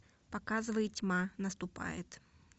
показывай тьма наступает